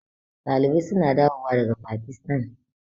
Ɗalibai suna dawo wa daga Pakistan